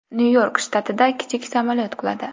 Nyu-York shtatida kichik samolyot quladi.